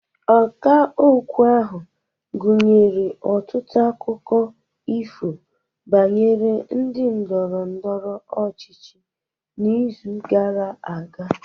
Ọkà okwu ahụ nyere ọtụtụ akụkọ ifo banyere ndị ndọrọ ndọrọ ọchịchị n'izu gara aga